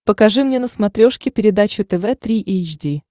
покажи мне на смотрешке передачу тв три эйч ди